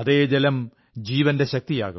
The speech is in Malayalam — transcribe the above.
അതേ ജലം ജീവന്റെ ശക്തിയാകും